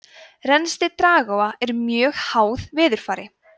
rennsli dragáa er mjög háð veðurfari